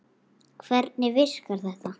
Hvernig virkar þetta?